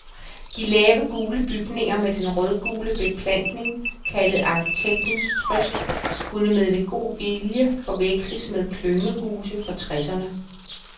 De lave, gule bygninger med den rødgule beplantning kaldet arkitektens trøst, kunne med lidt god vilje forveksles med klyngehuse fra tresserne.